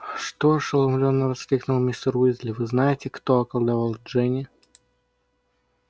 что ошеломлённо воскликнул мистер уизли вы-знаете-кто околдовал джинни